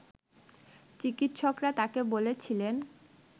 চিকিৎসকরা তাকে বলেছিলেন